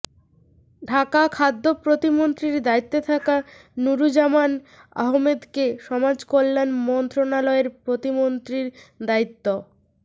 ঢাকাঃ খাদ্য প্রতিমন্ত্রীর দায়িত্বে থাকা নুরুজ্জামান আহমেদকে সমাজকল্যাণ মন্ত্রণালয়ের প্রতিমন্ত্রীর দায়িত্